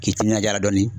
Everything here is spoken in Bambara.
K'i timinanja dɔni